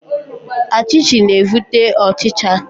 Achichi na evute ochicha.